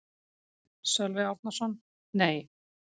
Sölvi Árnason: Nei.